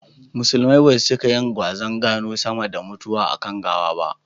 Musulumai basu cika yin gwazan gano sama da mutuwa a kan gawa ba